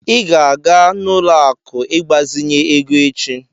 I ga-aga n'ụlọ akụ ịgbazinye ego echi.